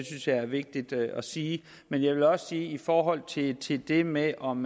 synes jeg er vigtigt at sige men jeg vil også i forhold til til det med om